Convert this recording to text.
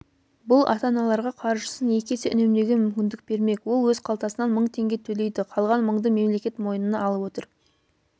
бұл ата-аналарға қаржысын екі есе үнемдеуге мүмкіндік бермек ол өз қалтасынан мың теңге төлейді қалған мыңды мемлекет мойнына алып отыр